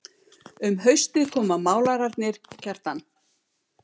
Um haustið koma málararnir Kjartan